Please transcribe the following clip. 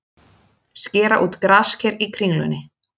Skera út grasker í Kringlunni